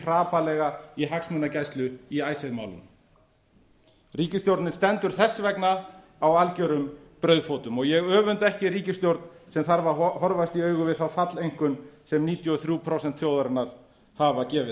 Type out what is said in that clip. hrapallega í hagsmunagæslu í icesave málinu ríkisstjórnin stendur þess vegna á algjörum brauðfótum og ég öfunda ekki ríkisstjórn sem þarf að horfast í augu við þá falleinkunn sem níutíu og þrjú prósent þjóðarinnar hafa gefið